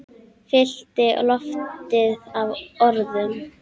Fyllti loftið af orðum.